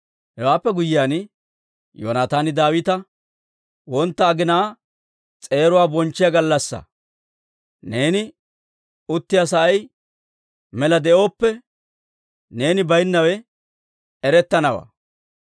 Hewaappe guyyiyaan, Yoonataani Daawita, «Wontta aginaa s'eeruwaa bonchchiyaa gallassaa; neeni uttiyaa sa'ay mela de'oppe, neeni baynnawe erettanawaa.